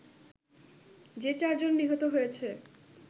যে চারজন নিহত হয়েছে